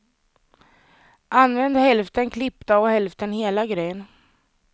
Använd hälften klippta och hälften hela gryn.